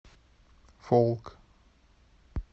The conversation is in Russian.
фолк